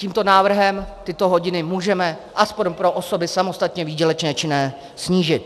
Tímto návrhem tyto hodiny můžeme alespoň pro osoby samostatně výdělečně činné snížit.